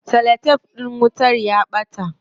Cellotef din wutar ya ɓata.